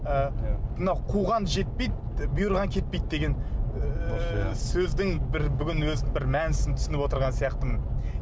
ы мына қуған жетпейді бұйырған кетпейді деген ыыы сөздің бір бүгін өзі бір мәнісін түсініп отырған сияқтымын